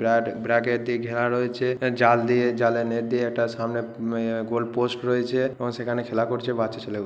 ব্রাকে bracket দিয়ে ঘেরা রয়েছে। জাল দিয়ে জালের নেট দিয়ে একটা সামনে ইয়ে গোল পোস্ট রয়েছে এবং সেখানে খেলা করছে বচ্চা ছেলে গুলো।